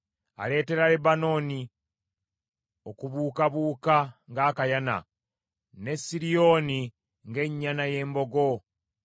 Aleetera Lebanooni okubuukabuuka ng’akayana, ne Siriyooni ng’ennyana y’embogo.